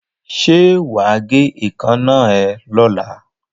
Ṣé wà á gé èékánná ẹ lọ́la?